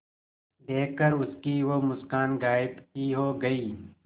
देखकर उसकी वो मुस्कान गायब ही हो गयी